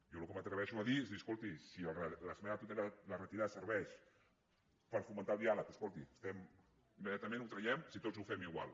jo el que m’atreveixo a dir és escolti si retirar l’esmena a la totalitat serveix per fomentar el diàleg escolti immediatament ho traiem si tots ho fem igual